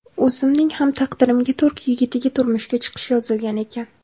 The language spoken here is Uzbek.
O‘zimning ham taqdirimga turk yigitiga turmushga chiqish yozilgan ekan.